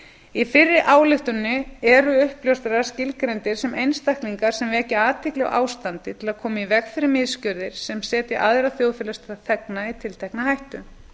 í fyrri ályktuninni eru uppljóstrarar skilgreindir sem einstaklingar sem vekja athygli á ástandi til að koma í veg fyrir misgjörðir sem setji aðra þjóðfélagsþegna í tiltekna hættu